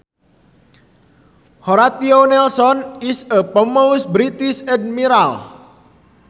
Horatio Nelson is a famous British admiral